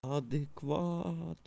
адыкват